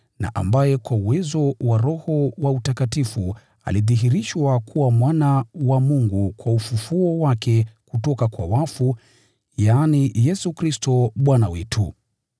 na ambaye kwa uwezo wa Roho wa utakatifu alidhihirishwa kuwa Mwana wa Mungu kwa ufufuo wake kutoka kwa wafu, yaani, Yesu Kristo, Bwana wetu.